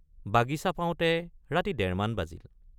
বাগিচা পাওঁতে ৰাতি ডেৰমান বাজিল।